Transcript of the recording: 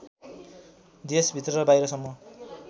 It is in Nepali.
देशभित्र र बाहिरसम्म